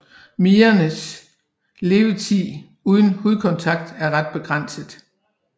Midernes levetid uden hudkontakt er ret begrænset